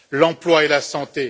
l'emploi et la santé.